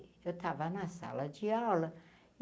Eu estava na sala de aula.